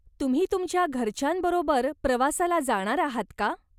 तुम्ही तुमच्या घरच्यांबरोबर प्रवासाला जाणार आहात का?